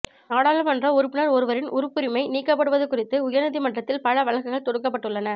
நாடாளுமன்ற உறுப்பினர் ஒருவரின் உறுப்புரிமை நீக்கப்படுவது குறித்து உயர்நீதிமன்றத்தில் பல வழக்குகள் தொடுக்கப்பட்டுள்ளன